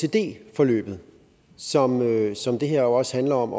forløbet som som det her også handler om